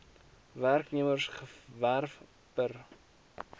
werknemers gewerf per